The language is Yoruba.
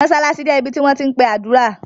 Mosalasi jẹ̀ ibí tí wọn ti npe adúra.